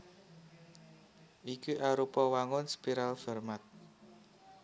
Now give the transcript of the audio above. Iki arupa wangun spiral Fermat